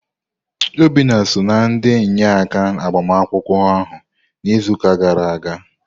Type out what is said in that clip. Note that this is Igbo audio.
Obinna so na ndị inyeaka agbamakwụkwọ ahụ na izuka gara aga.